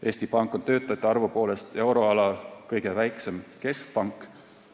Eesti Pank on töötajate arvu poolest euroala kõige väiksem keskpank.